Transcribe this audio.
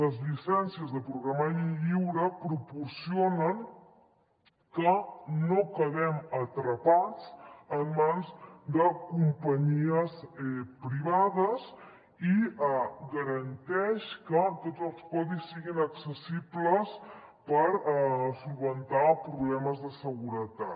les llicències de programari lliure proporcionen que no quedem atrapats en mans de companyies privades i garanteix que tots els codis siguin accessibles per solucionar problemes de seguretat